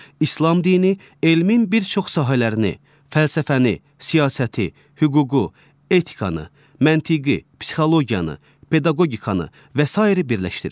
İslam dini elmin bir çox sahələrini, fəlsəfəni, siyasəti, hüququ, etikanı, məntiqi, psixologiyanı, pedaqogikanı və sair birləşdirir.